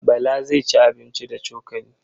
Bala zai ci abinci da cokali.